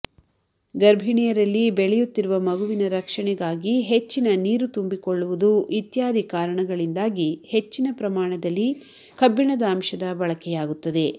ಗರ್ಭಿಣಿಯರಲ್ಲಿ ಬೆಳೆಯುತ್ತಿರುವ ಮಗುವಿನ ರಕ್ಷಣೆಗಾಗಿ ಹೆಚ್ಚಿನ ನೀರು ತುಂಬಿಕೊಳ್ಳುವುದು ಇತ್ಯಾದಿ ಕಾರಣಗಳಿಂದಾಗಿ ಹೆಚ್ಚಿನ ಪ್ರಮಾಣದಲ್ಲಿ ಕಬ್ಬಿಣದ ಅಂಶದ ಬಳಕೆಯಾಗುತ್ತದೆ